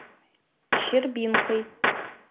щербинкой